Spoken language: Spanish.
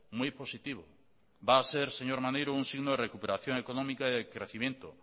muy positivo va a ser señor maneiro un signo de recuperación económica y de crecimiento